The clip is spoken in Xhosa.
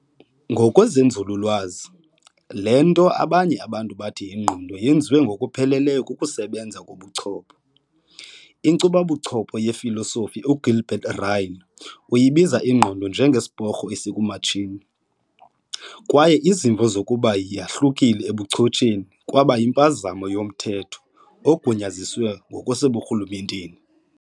Ngokwenzululwazi, le nto abanye abantu bathi yingqondo yenziwa "ngokupheleleyo" kukusebenza kobuchopho. Inkcuba buchopho yefilosofi uGilbert Ryle uyibiza ingqondo njenge"Sporho esikumatshini", kwaye izimvo zokuba yahlukile ebuchotsheni kwaba yimpazamo yo"Mthetho ogunyaziswe ngokwaseburhulumenteni ".